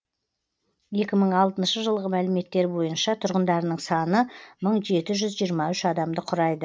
екі мың алтыншы жылғы мәліметтер бойынша тұрғындарының саны мың жеті жүз жиырма үш адамды құрайды